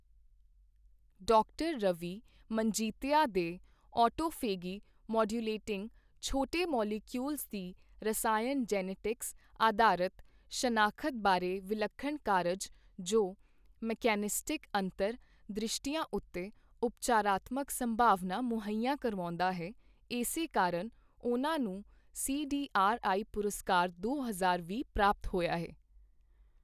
ਡਾ ਰਵੀ ਮਨਜੀਤਯਾ ਦੇ autophagy modulating ਛੋਟੇ ਮੌਲੀਕੀਯੂਲਜ਼ ਦੀ ਰਸਾਇਣ ਜੀਨੈਟਿਕਸ ਆਧਾਰਤ ਸ਼ਨਾਖ਼ਤ ਬਾਰੇ ਵਿਲੱਖਣ ਕਾਰਜ, ਜੋ ਮਕੈਨਿਸਟਿਕ ਅੰਤਰ ਦ੍ਰਿਸ਼ਟੀਆਂ ਉੱਤੇ ਉਪਚਾਰਾਤਮਕ ਸੰਭਾਵਨਾ ਮੁਹੱਈਆ ਕਰਵਾਉਂਦਾ ਹੈ, ਇਸੇ ਕਾਰਨ ਉਨ੍ਹਾਂ ਨੂੰ ਸਿਡਿਆਰਆਇ ਪੁਰਸਕਾਰ ਦੋ ਹਜ਼ਾਰ ਵੀਹ ਪ੍ਰਾਪਤ ਹੋਇਆ ਹੈ।